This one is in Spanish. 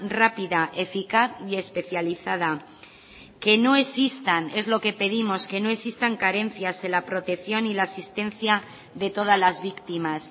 rápida eficaz y especializada que no existan es lo que pedimos que no existan carencias en la protección y la asistencia de todas las víctimas